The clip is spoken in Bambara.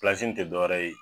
Pilasi nin te dɔ wɛrɛ ye